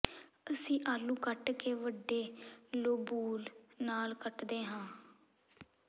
ਅਸੀਂ ਆਲੂ ਕੱਟ ਕੇ ਵੱਡੇ ਲੋਬੂਲ ਨਾਲ ਕੱਟਦੇ ਹਾਂ